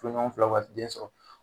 Furuɲɔgɔnfilaw ka den sɔrɔ